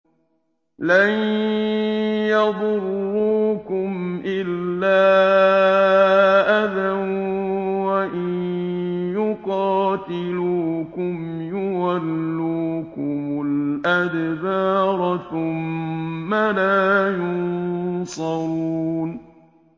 لَن يَضُرُّوكُمْ إِلَّا أَذًى ۖ وَإِن يُقَاتِلُوكُمْ يُوَلُّوكُمُ الْأَدْبَارَ ثُمَّ لَا يُنصَرُونَ